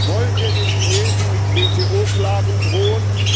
Wollen wir den Chinesen mit WTO Klagen drohen?